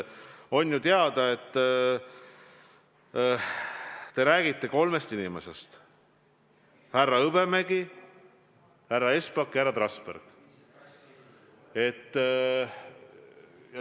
On ju teada, et te räägite kolmest inimesest: härra Hõbemägi, härra Espak ja härra Trasberg.